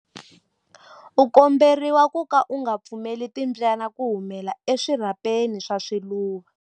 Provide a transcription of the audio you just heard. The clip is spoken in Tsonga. U komberiwa ku ka u nga pfumeleli timbyana ku humela eswirhapeni swa swiluva.